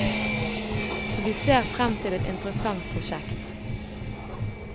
Vi ser frem til et interessant prosjekt.